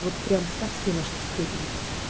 вот прямо совсем аж в степень